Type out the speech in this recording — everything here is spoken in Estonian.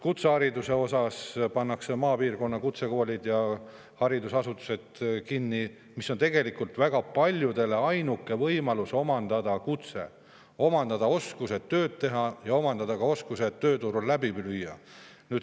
Kutsehariduses pannakse maapiirkonna kutsekoole kinni, kuigi need on tegelikult väga paljudele ainuke võimalus omandada kutse, omandada oskused tööd teha ja omandada ka oskused tööturul läbi lüüa.